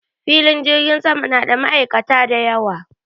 Filin jirgin sama na da ma'aikata da yawa.